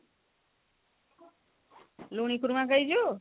ଲୁଣି କୁରୁମା ଖାଇଛୁ ?